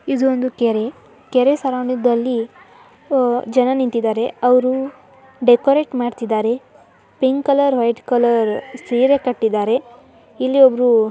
ಇದೊಂದು ಕೆರೆ ಕೆರೆ ಸ್ವರಂಗ ದಲ್ಲಿ ಜನ ನಿಂತಿದ್ದಾರೆ ಅವರು ಡೆಕೋರೇಟ ಮಾಡ್ತಿದ್ದಾರೆ. ಪಿಂಕ್ ಕಲರ್ ವೈಟ್ಕ ಲರ್ ಸೀರೆ ಕಟ್ಟುಇದ್ರೆ. ಇಲ್ಲಿ ಒಬ್ರು. --